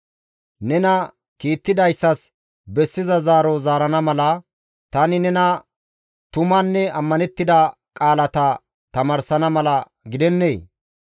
Nena kiittidayssas bessiza zaaro zaarana mala, tani nena tumanne ammanettida qaalata tamaarsana mala gidennee?